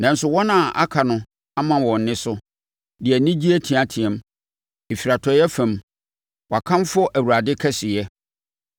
Nanso wɔn a aka no ama wɔn nne so, de anigye teateaam; ɛfiri atɔeɛ fam, wɔkamfo Awurade kɛseyɛ.